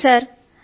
లేదు సర్